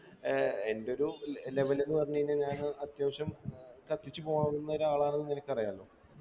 ഏർ എൻ്റെ ഒരു level ന്ന് പറഞ്ഞു കഴിഞ്ഞ ഞാന് അത്യാവശ്യം കത്തിച്ചു പോകാവുന്ന ഒരാളാണ് ന്ന് നിനക്കറിയാല്ലോ